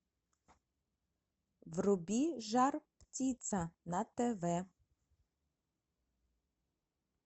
вруби жар птица на тв